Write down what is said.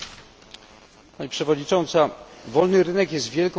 Pani Przewodnicząca! Wolny rynek jest wielką wartością.